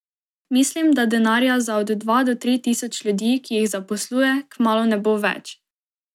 Mislim, da denarja za od dva do tri tisoč ljudi, ki jih zaposluje, kmalu ne bo več.